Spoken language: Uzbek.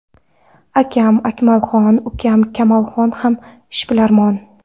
Akam Akmalxon, ukam Kamolxon ham ishbilarmon.